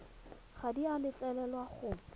ga di a letlelelwa go